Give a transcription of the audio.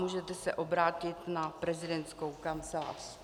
Můžete se obrátit na prezidentskou kancelář.